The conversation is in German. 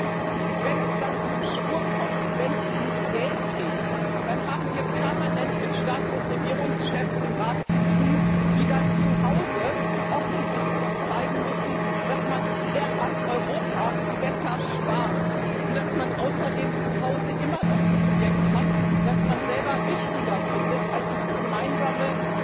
Aber wenn es dann zum Schwur kommt, wenn es ums Geld geht, dann haben wir es im Rat permanent mit Staats und Regierungschefs zu tun, die dann zu Hause offensichtlich zeigen müssen, dass man an Europa besser spart und dass man außerdem zu Hause immer noch ein Projekt hat, das man selber wichtiger findet als das gemeinsame